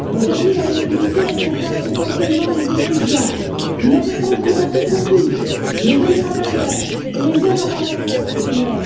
Aujourd'hui, la mobilité concerne essentiellement les étudiants, mais elle doit être encouragée pour tous, les jeunes travailleurs et les jeunes en formation professionnelle.